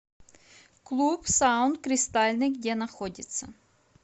клуб саун кристальный где находится